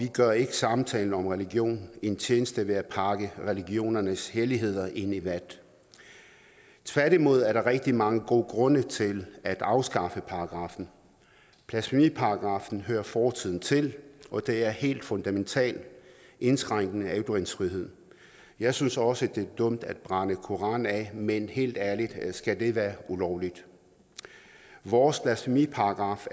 gør ikke samtalen om religion en tjeneste ved at pakke religionernes helligheder ind i vat tværtimod er der rigtig mange gode grunde til at afskaffe paragraffen blasfemiparagraffen hører fortiden til og det er en helt fundamental indskrænkning af ytringsfriheden jeg synes også det er dumt at brænde koraner af men helt ærligt skal det være ulovligt vores blasfemiparagraf